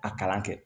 A kalan kɛ